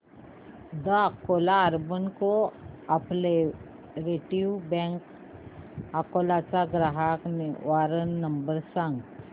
the Akola urban cooperative bank Akola चा ग्राहक निवारण नंबर सांग